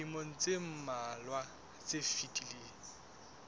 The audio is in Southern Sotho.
dilemong tse mmalwa tse fetileng